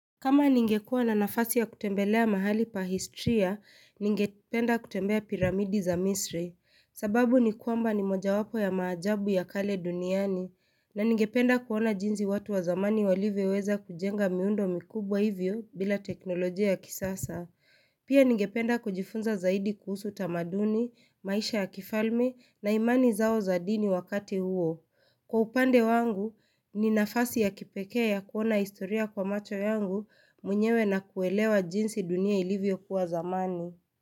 Kama ningekuwa na nafasi ya kutembelea mahali pa historia, ningependa kutembea piramidi za misri. Sababu ni kwamba ni moja wapo ya maajabu ya kale duniani. Na ningependa kuona jinsi watu wa zamani walivyoweza kujenga miundo mikubwa hivyo bila teknolojia ya kisasa. Pia ningependa kujifunza zaidi kuhusu tamaduni, maisha ya kifalme na imani zao za dini wakati huo. Kwa upande wangu, ni nafasi ya kipekea kuona historia kwa macho yangu mwenyewe na kuelewa jinsi dunia ilivyokuwa zamani.